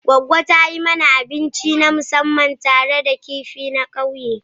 Goggo ta yi mana abinci na musamman tare da kifi a ƙauyen.